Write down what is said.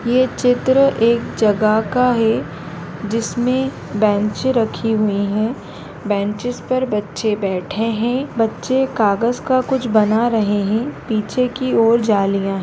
ये चित्र एक जगह का है जिसमे बेंचें रखी हुई है बेन्चेंस पर बच्चे बैठे हुए है बच्चे कागज का कुछ बना रहे है पीछे की और जालियां है।